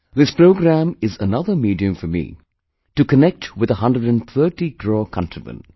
This programmme is another medium for me to connect with a 130 crore countrymen